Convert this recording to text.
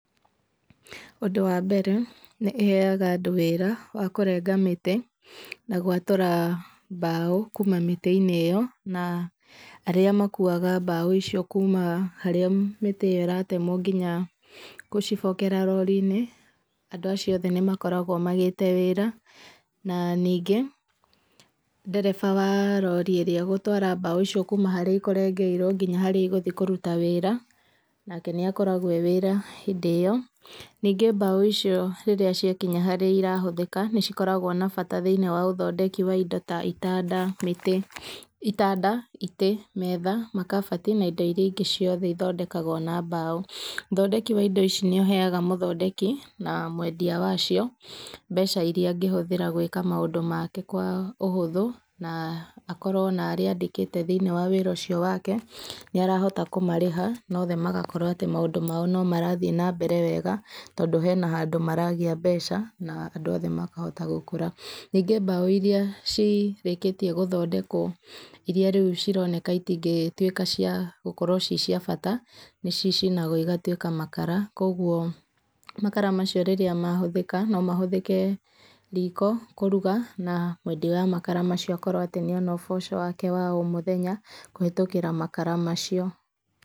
Ũndũ wa mbere, nĩĩheaga andũ wĩra wa kũrenga mĩtĩ na gwatũra mbaũ kuma mĩtĩ-inĩ ĩyo, na arĩa makuaga mbaũ icio kuma harĩa mĩtĩ ĩyo ĩratemwo nginya gũcibokera rori-inĩ, andũ acio othe nĩmakoragwo magĩte wĩra. Na ningĩ, ndereba wa rori ĩrĩa ĩgũtwara mbaũ icio kuma harĩa ikũrengeirwo nginya harĩa igũthiĩ kũruta wĩra, nake nĩakoragwo e wĩra hĩndĩ ĩyo. Ningĩ mbaũ icio ciakinya harĩa irahũthĩka, nĩcikoragwo na bata thĩiniĩ wa ũthondeki wa indo ta itanda, mĩtĩ, itanda, itĩ, metha, makabati na indo iria ingĩ cioothe ithondekagwo na mbaũ. Ũthondeki wa indo ici nĩũheaga mũthondeki na mwendia wacio mbeca iria angĩhũthĩra gwĩka maũndũ make kwa ũhũthũ, na akorwo na arĩa andĩkĩte thĩiniĩ wa wĩra ũcio wake nĩarahota kũmarĩha na othe magakorwo atĩ maũndũ mao no marathiĩ na mbere wega, tondũ hena handũ maragĩa mbeca na andũ othe makahota gũkũra. Ningĩ mbaũ iria cirĩkĩtie gũthondekwo, iria rĩu cironeka citingĩtuĩka cia gũkorwo ci cia bata, nĩcicinagwo igatuĩka makara. Kuoguo makara macio rĩrĩa mahũthĩka no mahũthĩke riko kũruga, na mwendia wa makara macio akorwo atĩ nĩona ũboco wake wa o mũthenya kũhĩtũkĩra makara macio.